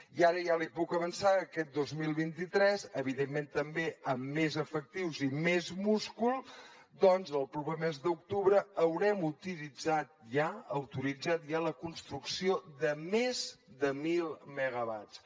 i ara ja li puc avançar que aquest dos mil vint tres evidentment també amb més efectius i més múscul el proper mes d’octubre haurem autoritzat ja la construcció de més de mil megawatts